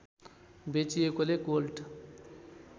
बेचिएकोले gold